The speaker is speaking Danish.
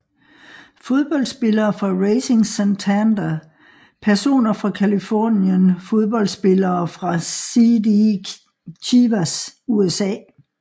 Fodboldspillere fra Racing Santander Personer fra Californien Fodboldspillere fra CD Chivas USA